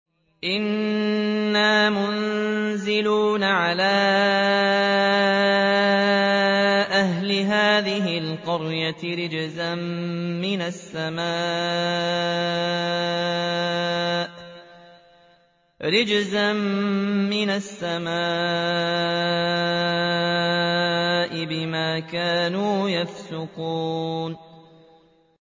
إِنَّا مُنزِلُونَ عَلَىٰ أَهْلِ هَٰذِهِ الْقَرْيَةِ رِجْزًا مِّنَ السَّمَاءِ بِمَا كَانُوا يَفْسُقُونَ